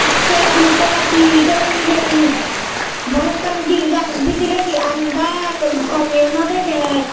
sei gulukkunot he he toyon hijeni balokkani jinis agey bidiredi andaar gomeyo naw degey.